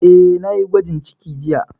Eh, na yi gwajin ciki jiya